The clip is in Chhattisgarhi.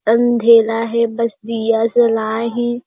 अँधेरा है बस दिया जलाये हे।